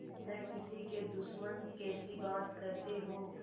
न किसी के दुश्मन कैसी बात कहते हो